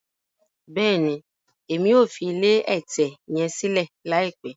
Bẹẹni, Èmí o fi ilé ẹtẹ yẹn silẹ laipẹ